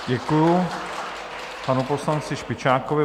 Děkuji panu poslanci Špičákovi.